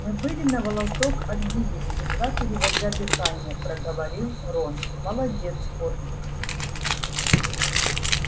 мы были на волосок от гибели едва переводя дыхание проговорил рон молодец фордик